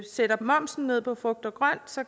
sætter momsen ned på frugt og grønt